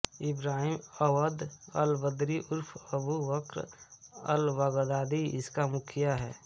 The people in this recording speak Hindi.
इब्राहिम अव्वद अलबद्री उर्फ अबु बक्र अलबगदादी इसका मुखिया है